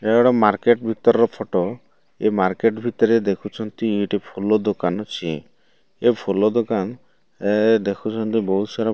ଏଟା ଗୋଟେ ମାର୍କେଟ ଭିତରର ଫଟୋ ଏଇ ମାର୍କେଟ ଭିତରେ ଦେଖୁଚନ୍ତି ଏଠି ଫଳ ଦୋକାନ ଅଛି ଏ ଫଳ ଦୋକାନ ଏ ଦେଖୁଚନ୍ତି ବୋହୁତ ସାରା --